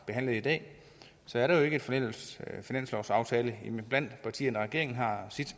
behandlet i dag er der jo ikke en fælles finanslovsaftale mellem partierne regeringen har sit